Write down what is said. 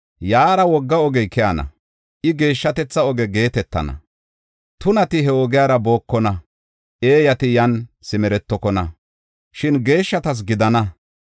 Yaara wogga ogey keyana; ika “Geeshshatetha Oge” geetetana. Tunati he ogiyara bookona; eeyati yan simeretokona; shin geeshshatas gidana.